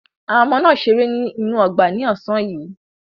Àwọn ọmọ náà ṣeré ní inú ọgbà ní ọ̀sán yìí.